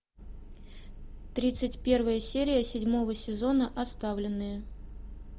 тридцать первая серия седьмого сезона оставленные